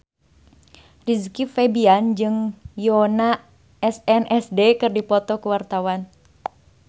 Rizky Febian jeung Yoona SNSD keur dipoto ku wartawan